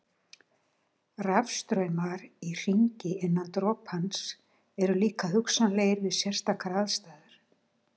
Rafstraumar í hringi innan dropans eru líka hugsanlegir við sérstakar aðstæður.